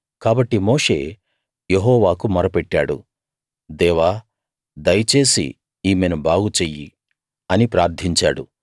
కాబట్టి మోషే యెహోవాకు మొర పెట్టాడు దేవా దయచేసి ఈమెను బాగు చెయ్యి అని ప్రార్ధించాడు